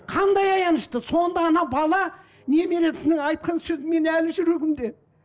қандай аянышты сонда ана бала немересінің айтқан сөзі менің әлі жүрегімде